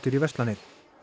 í verslanir